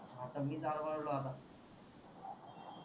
आता मीच आळवळलो आता